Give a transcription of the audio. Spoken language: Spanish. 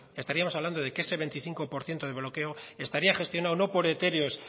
estaríamos hablando de que ese veinticinco por ciento de bloqueo estaría gestionado no por etéreos